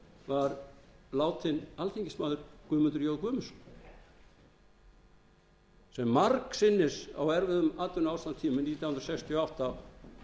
var látinn alþingismaður guðmundur j guðmundsson sem margsinnis á erfiðum atvinnuástandstímum nítján hundruð sextíu og átta